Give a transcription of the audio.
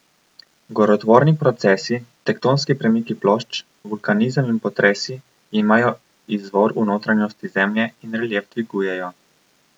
Gorotvorni procesi, tektonski premiki plošč, vulkanizem in potresi imajo izvor v notranjosti Zemlje in relief dvigujejo.